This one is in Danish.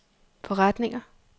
forretninger